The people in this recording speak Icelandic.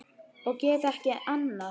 Og get ekki annað.